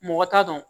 Mɔgɔ t'a dɔn